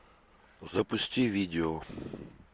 запусти видео